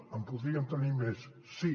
en podríem tenir més sí